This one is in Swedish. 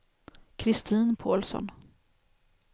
Kristin Pålsson